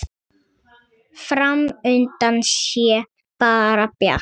Fram undan sé bara bjart.